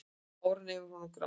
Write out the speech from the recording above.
Áran yfir honum gránaði.